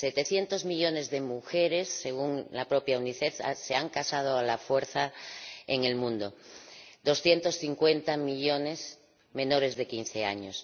700 millones de mujeres, según la propia Unicef, se han casado a la fuerza en el mundo 250 millones de ellas menores de 15 años.